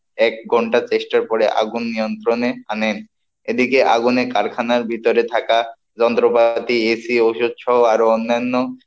এক ঘন্টা চেষ্টার পরে আগুন নিয়ন্ত্রণে আনেন, এদিকে আগুনে কারখানার ভিতরে থাকা যন্ত্রপাতি, এসি ওষুধ সহ আরো অন্যান্য,